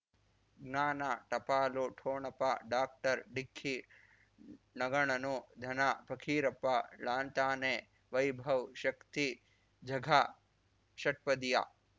ಜ್ಞಾನ ಟಪಾಲು ಠೊಣಪ ಡಾಕ್ಟರ್ ಢಿಕ್ಕಿ ಣಗಳನು ಧನ ಫಕೀರಪ್ಪ ಳಂತಾನೆ ವೈಭವ್ ಶಕ್ತಿ ಝಗಾ ಷಟ್ಪದಿಯ